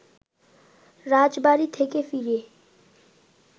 রাজবাড়ী থেকে ফিরে